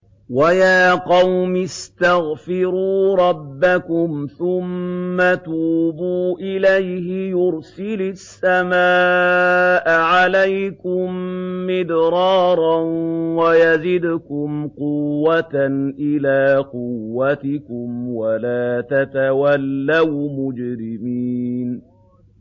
وَيَا قَوْمِ اسْتَغْفِرُوا رَبَّكُمْ ثُمَّ تُوبُوا إِلَيْهِ يُرْسِلِ السَّمَاءَ عَلَيْكُم مِّدْرَارًا وَيَزِدْكُمْ قُوَّةً إِلَىٰ قُوَّتِكُمْ وَلَا تَتَوَلَّوْا مُجْرِمِينَ